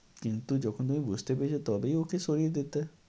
কিন্তু যখন তুমি বুঝতে পেরেছ তবেই ওকে সরিয়ে দিতে।